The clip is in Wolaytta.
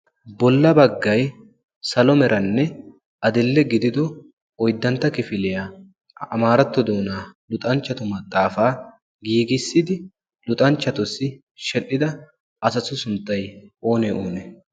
Bolla baggayi salo meranne adill"e gidido oyddantto kifiliya amaaratto doonaa luxanchchatu maxaafaa giigissidi luxanchchatussi sheedhdhida asatu sunttayi oonee oonee?